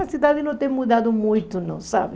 A cidade não tem mudado muito, não, sabe?